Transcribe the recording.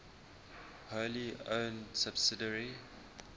wholly owned subsidiary